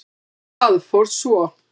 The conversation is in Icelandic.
Það fór svo.